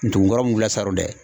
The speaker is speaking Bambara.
Ntun kɔrɔ mun wulila saro dɛ